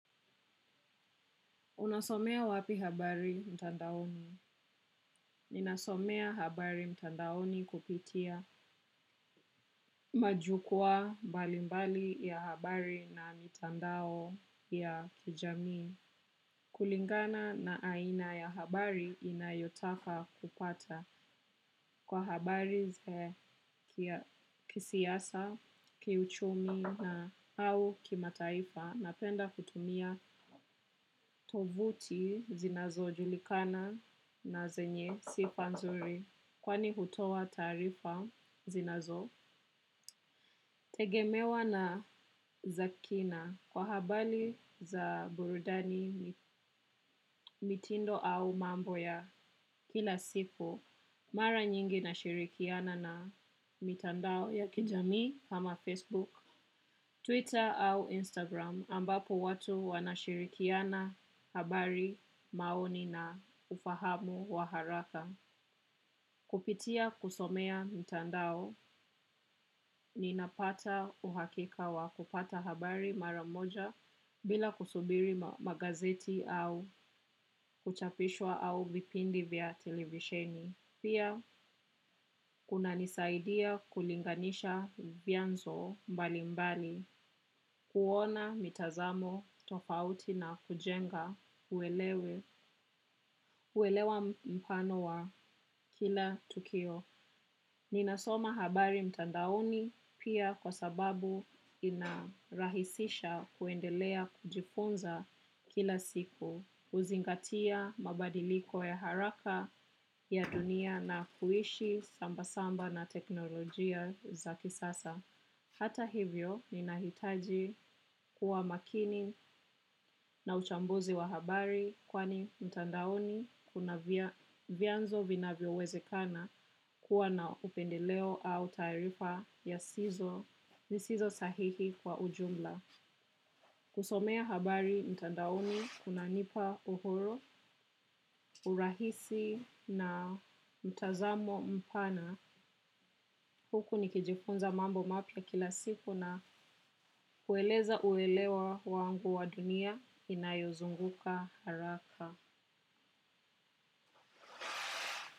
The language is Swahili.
Unasomea wapi habari mtandaoni? Ninasomea habari mtandaoni kupitia majukuwa mbalimbali ya habari na mitandao ya kijamii. Kulingana na aina ya habari ninayotaka kupata kwa habari kisiasa, kiuchumi na au kimataifa. Napenda kutumia tovuti zinazo julikana na zenye sifa nzuri. Kwani hutoa taarifa zinazo tegemewa na za kina kwa habari za burudani mitindo au mambo ya kila siku. Mara nyingi nashirikiana na mitandao ya kijamii ama Facebook, Twitter au Instagram ambapo watu wanashirikiana habari maoni na ufahamu wa haraka. Kupitia kusomea mtandao ninapata uhakika wa kupata habari mara moja bila kusubiri magazeti au kuchapishwa au vipindi vya televisheni. Pia, kuna nisaidia kulinganisha vyanzo mbalimbali, kuona mitazamo tofauti na kujenga uelewe kuelewa mfano wa kila tukio. Ninasoma habari mtandaoni pia kwa sababu inarahisisha kuendelea kujifunza kila siku. HUzingatia mabadiliko ya haraka ya dunia na kuishi samba-samba na teknolojia za kisasa. Hata hivyo ni nahitaji kuwa makini na uchambuzi wa habari kwani mtandaoni kuna vyanzo vinavyo wezekana kuwa na upendeleo au taarifa ya sizo zisizo sahihi kwa ujumla. Kusomea habari mtandaoni kunanipa uhuru, urahisi na mtazamo mpana huku nikijifunza mambo mapya kila siku na kueleza uelewa wangu wa dunia inayozunguka haraka.